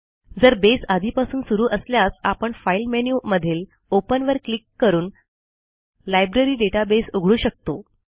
जर बेस आधीपासून सुरू असल्यास आपण फाइल मेनू मधील ओपन वर क्लिक करून लायब्ररी डेटाबेस उघडू शकतो